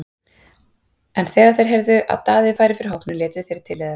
En þegar þeir heyrðu að Daði færi fyrir hópnum létu þeir til leiðast.